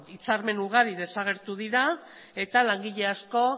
hitzarmen ugari desagertu dira eta langile asko